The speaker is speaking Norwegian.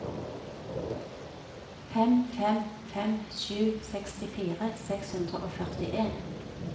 fem fem fem sju sekstifire seks hundre og førtien